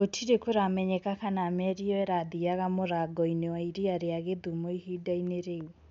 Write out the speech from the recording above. gũtire kũramenyeka kana merĩ ĩyo ĩrathiaga mũrango-inĩ wa iria ria gĩthumo ihinda-inĩ rĩu